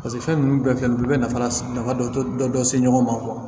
Paseke fɛn ninnu bɛɛ filɛ nin ye u bɛ nafa la dɔ se ɲɔgɔn ma